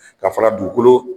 Ka fara dugukolo